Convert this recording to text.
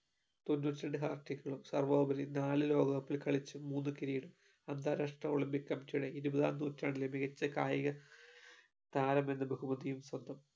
തൊണ്ണൂറ്റിരണ്ട്‍ hat-trick കളും സർവ്വോപരി നാല് ലോകകപ്പിൽ കളിച്ചു മൂന്നു കിരീടവും അന്താരാഷ്ട്ര olympic committee യുടെ ഇരുപതാം നൂറ്റാണ്ടിലെ മികച്ച കായിക താരമെന്ന ബഹുമതിയും സ്വന്തം